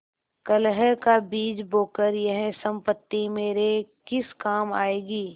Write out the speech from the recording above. कलह का बीज बोकर यह सम्पत्ति मेरे किस काम आयेगी